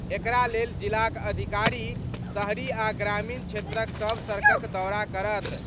एकरा लेल जिलाक अधिकारी शहरी आ ग्रामीण क्षेत्रक सभ सड़कक दौरा करत।